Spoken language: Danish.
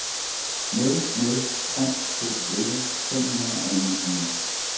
nul nul tre to elleve fem hundrede og enogtyve